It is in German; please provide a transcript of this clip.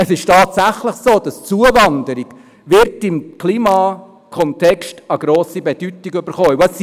Es ist tatsächlich so, dass die Zuwanderung im Kontext des Klimas eine grosse Bedeutung erhalten wird.